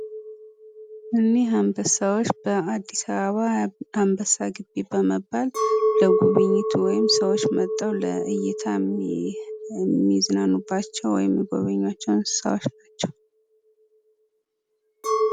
እኒህ አንበሳዎች በአዲስ አበባ አንበሳ ግቢ በመባል ወይም ለጉብኝት ሰዎች መጥተው ለእይታ የሚዝናኑባቸው የሚጎበኛቸው እንስሳዎች ናቸው።